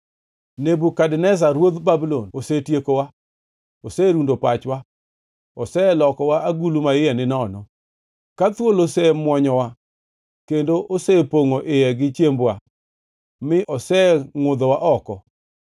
“Nebukadneza ruodh Babulon osetiekowa, oserundo pachwa, oselokowa agulu ma iye ninono. Ka thuol osemuonyowa kendo osepongʼo iye gi chiembwa, mi osengʼudhowa oko.”